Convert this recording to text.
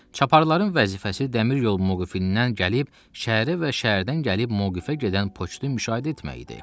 Çaparxananın vəzifəsi dəmir yolu mövqifindən gəlib, şəhərə və şəhərdən gəlib mövqifə gedən poçtu müşahidə etmək idi.